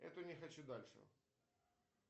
эту не хочу дальше